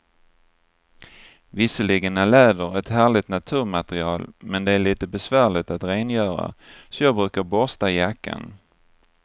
Visserligen är läder ett härligt naturmaterial, men det är lite besvärligt att rengöra, så jag brukar borsta jackan.